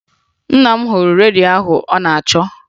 Nna m hụrụ redio ahụ ọ nọ na-achọ